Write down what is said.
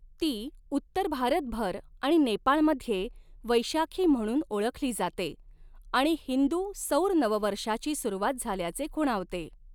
ती उत्तर भारतभर आणि नेपाळमध्ये वैशाखी म्हणून ओळखली जाते आणि हिंदू सौर नववर्षाची सुरुवात झाल्याचे खुणावते.